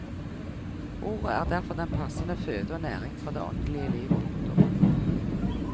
Ordet er derfor den passende føde og næring for det åndelige liv. punktum